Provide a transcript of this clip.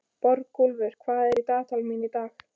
Borgúlfur, hvað er í dagatalinu mínu í dag?